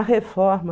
A reforma.